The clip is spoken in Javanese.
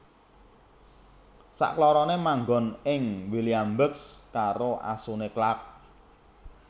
Saklorone manggon ing Williamsburg karo asune Clark